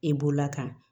E bolola kan